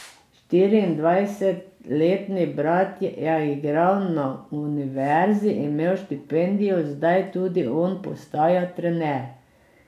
Štiriindvajsetletni brat je igral na univerzi, imel štipendijo, zdaj tudi on postaja trener.